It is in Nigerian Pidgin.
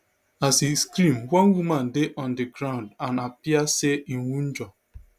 as e scream one woman dey on di ground and appear say e wunjure